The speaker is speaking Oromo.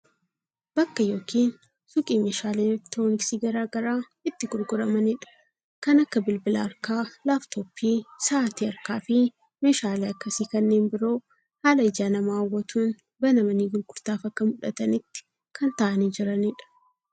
Bakka yookiin suuqii meeshaaleen elektirooniksii garaagaraa itti gurguramanidha. Kan akka bilbila harkaa, laaptooppii sa'aatii harkaafi meeshaalee akkasii kanneen biroo haala ija namaa hawwatuun banamanii gurgurtaaf akka mul'atanitti kan taa'anii jiranidha.